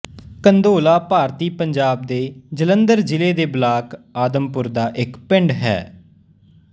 ਕੰਧੋਲਾ ਭਾਰਤੀ ਪੰਜਾਬ ਦੇ ਜਲੰਧਰ ਜ਼ਿਲ੍ਹੇ ਦੇ ਬਲਾਕ ਆਦਮਪੁਰ ਦਾ ਇੱਕ ਪਿੰਡ ਹੈ